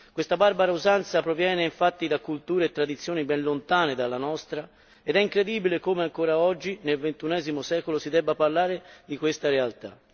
Questa barbara usanza proviene infatti da culture e tradizioni ben lontane dalla nostra, ed è incredibile come ancora oggi, nel ventunesimo secolo, si debba parlare di questa realtà.